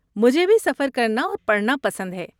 مجھے بھی سفر کرنا اور پڑھنا پسند ہے۔